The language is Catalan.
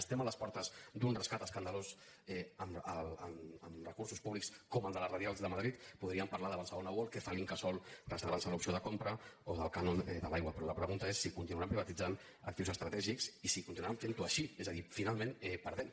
estem a les portes d’un rescat escandalós amb recursos públics com el de les radials de madrid podríem parlar de barcelona world què fa l’incasòl reservant·se l’opció de compra o del cànon de l’aigua però la pregunta és si continuaran privatitzant actius estratègics i si continuaran fent·ho així és a dir final·ment perdem